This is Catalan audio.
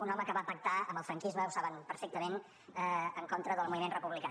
un home que va pactar amb el franquisme ho saben perfectament en contra del moviment republicà